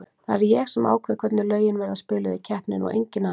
Það er ég sem ákveð hvernig lögin verða spiluð í keppninni og enginn annar.